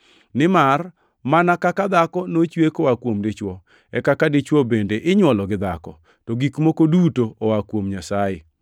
Nimar, mana kaka dhako nochwe koa kuom dichwo, e kaka dichwo bende inywolo gi dhako, to gik moko duto oa kuom Nyasaye.